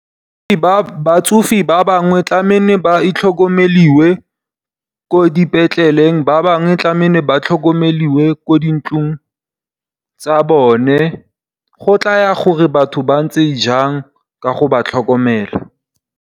Batsofe ba bangwe tlameile ba tlhokomelwe ko dipetlele ba bangwe tlameile ba tlhokomelwe ko dintlong tsa bone. Go tlaya gore batho ba ntse jang ka go ba tlhokomela.